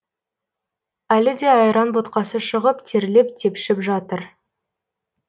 әлі де айран ботқасы шығып терлеп тепшіп жатыр